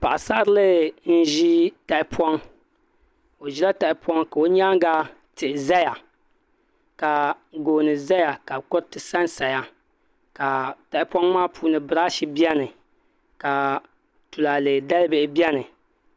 Paɣasarili n ʒi tahapoŋ o ʒila tahapoŋ ka o nyaanga tihi ʒɛya ka gooni ʒɛya ka kuriti sansaya ka tahapoŋ maa puuni birash biɛni ka tulaalɛ dalibihi biɛni